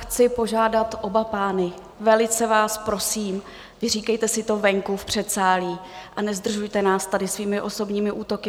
Chci požádat oba pány, velice vás prosím, vyříkejte si to venku v předsálí a nezdržujte nás tady svými osobními útoky.